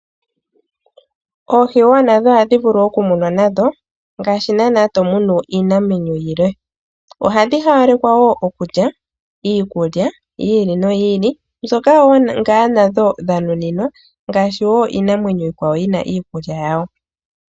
Oohi wo nadho oha dhi vulu okumunwa nadho ngaasji naana to munu iinamwenyo yilwe. Oha dhi hawalekwa wo okulya, iikulya yi ili noyi ili mbyoka wo nadho dh nuninwa ngaashi wo iinamwenyo iikwawo yina iikulya yawo.